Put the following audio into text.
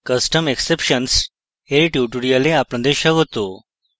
custom exceptions এর tutorial আপনাদের স্বাগত